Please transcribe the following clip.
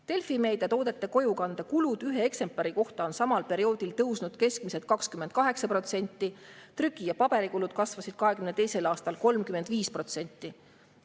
Delfi Meedia toodete kojukande kulud ühe eksemplari kohta on samal perioodil tõusnud keskmiselt 28%, trüki‑ ja paberikulud kasvasid 2022. aastal 35%.